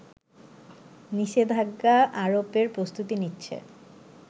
নিষেধাজ্ঞা আরোপের প্রস্তুতি নিচ্ছে